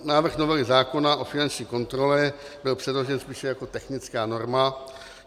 Návrh novely zákona o finanční kontrole byl předložen spíše jako technická norma.